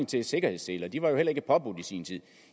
til sikkerhedsseler de var heller ikke påbudt i sin tid